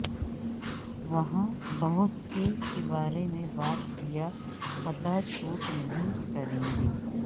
وہاں بہت سے کے بارے میں بات کیا پتہ چوٹ نہیں کریں گے